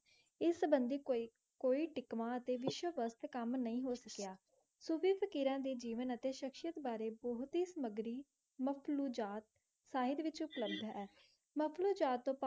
कोई कोई technology वस्ती काम नई काम नई हॉसकय सुखी फकीरण डे जीवन एते सुरक्षा बारी बहुत ही ही साइड विचो मखलोजात साइड विचों नकली ईजाद.